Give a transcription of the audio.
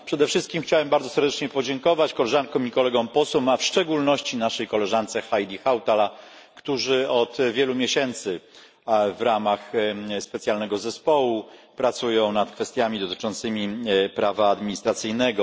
Przede wszystkim chciałbym bardzo serdecznie podziękować koleżankom i kolegom posłom, a w szczególności naszej koleżance Heidi Hautali, którzy od wielu miesięcy w ramach specjalnego zespołu pracują nad kwestiami dotyczącymi prawa administracyjnego.